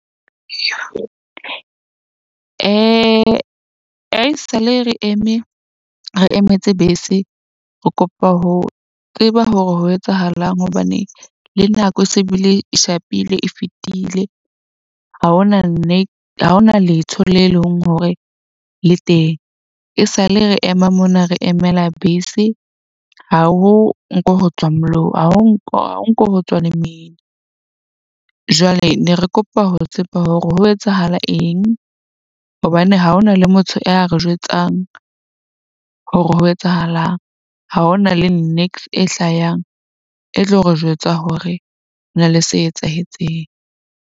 Haesale re eme re emetse bese, re kopa ho tseba hore ho etsahalang hobane le nako se bile e shapile e fetile. Ha hona ha ona letho le leng hore le teng e sa le re ema mona re emela bese. Ha ho nko ho tswa ha ho nko ho tswa lemina. Jwale ne re kopa ho tseba hore ho etsahala eng hobane ha hona le motho ya re jwetsang hore ho etsahalang. Ha hona le niks e hlayang e tlo re jwetsa hore ho na le se etsahetseng.